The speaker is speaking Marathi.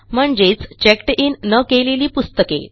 म्हणजेच चेक्ड इन न केलेली पुस्तके